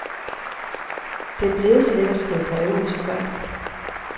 Det er blevet så let at skrive breve ud til folk.